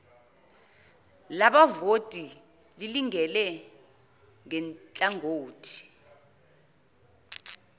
labavoti lilingane nhlangothi